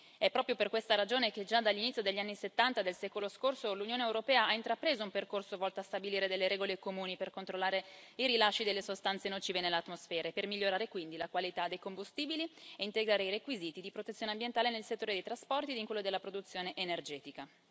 È proprio per questa ragione che già dall'inizio degli anni Settanta del secolo scorso l'Unione europea ha intrapreso un percorso volto a stabilire delle regole comuni per controllare i rilasci delle sostanze nocive nell'atmosfera e per migliorare quindi la qualità dei combustibili e integrare i requisiti di protezione ambientale nel settore dei trasporti ed in quello della produzione energetica.